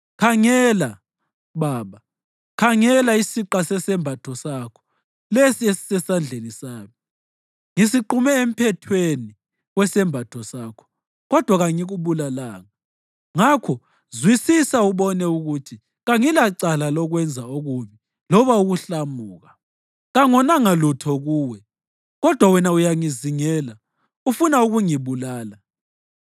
Khangela, baba, khangela isiqa sesembatho sakho lesi esisesandleni sami! Ngisiqume emphethweni wesembatho sakho, kodwa kangikubulalanga. Ngakho zwisisa ubone ukuthi kangilacala lokwenza okubi loba ukuhlamuka. Kangonanga lutho kuwe, kodwa wena uyangizingela ufuna ukungibulala.